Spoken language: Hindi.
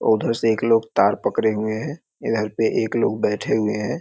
उधर से एक लोग तार पकरे हुए हैं इधर पे एक लोग बैठे हुए हैं।